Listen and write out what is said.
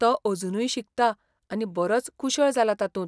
तो अजुनूय शिकता आनी बरोच कुशळ जाला तातूंत.